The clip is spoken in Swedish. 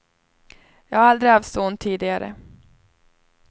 Jag har aldrig haft så ont tidigare.